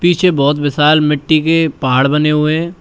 पीछे बहोत विशाल मिट्टी के पहाड़ बने हुए है।